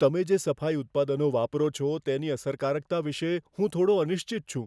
તમે જે સફાઈ ઉત્પાદનો વાપરો છો, તેની અસરકારકતા વિશે હું થોડો અનિશ્ચિત છું.